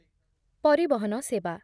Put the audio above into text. ପରିବହନ ସେବା